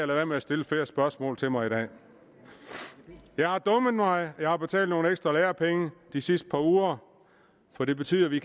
være med at stille flere spørgsmål til mig i dag jeg har dummet mig jeg har betalt nogle ekstra lærepenge de sidste par uger for det betyder at vi